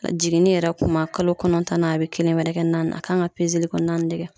A jiginni yɛrɛ kuma kalon kɔnɔntɔnnan a be kelen wɛrɛ kɛ naani a kan ka li li ko naani de kɛ.